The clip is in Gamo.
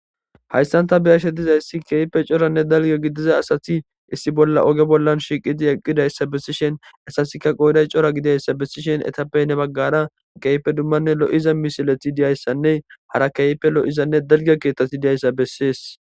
Hayssan taani be'ashe diizayssi coora asati ogge bollan shiqqidi eqqidayssa bessishenne hessape gedde baggara lo'iza misilettinne dalgga keththati dizays bettess.